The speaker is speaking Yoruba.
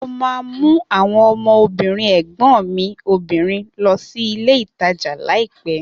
Mo ma mú àwọn ọmọ obìnrin ẹ̀gbọ́n mi obìnrin lọ sí ilé ìtajà laiopẹ̀